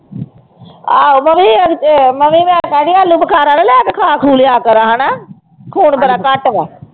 ਆਹੋ ਮੈਂ ਵੀ ਅਹ ਮੈਂ ਵੀ ਆਲੂ ਬਖਾਰਾ ਤੇ ਲੈ ਖਾ ਖੂ ਲਿਆ ਕਰਾਂ ਹਨਾ ਖੂਨ ਬੜਾ ਘੱਟ ਵਾ।